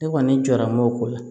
Ne kɔni jɔra m'o ko la